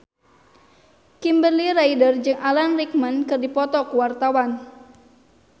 Kimberly Ryder jeung Alan Rickman keur dipoto ku wartawan